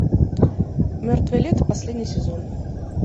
мертвое лето последний сезон